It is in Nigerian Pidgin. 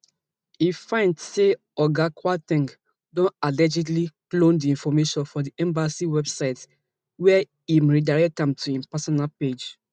im find say oga kwar ten g don allegedly clone di information for di embassy website wia im redirect am to im personal page